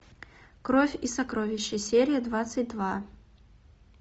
кровь и сокровища серия двадцать два